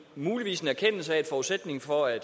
muligvis en erkendelse af at forudsætningen for at